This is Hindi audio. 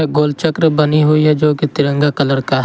गोल चक्र बनी हुई है जोकि तिरंगा कलर का है।